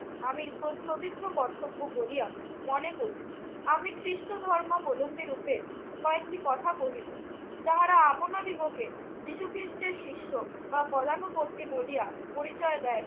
আমি প্রশ্নবিদ্ধ কর্তব্য বলিয়া মনে করি। আমি খ্রিষ্ট ধর্মাবলম্বীরূপে কয়েকটি কথা কহিব। যাহারা আপনাদিগকে যীশুখ্রিষ্টের শিষ্য বা পদানুবর্তী বলিয়া পরিচয় দেয়